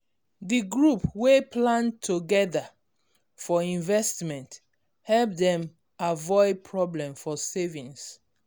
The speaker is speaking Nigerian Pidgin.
d group wey plan togedr for investment help dem avoid problem for savings